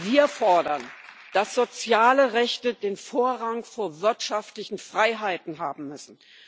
Wir fordern, dass soziale Rechte Vorrang vor wirtschaftlichen Freiheiten haben müssen.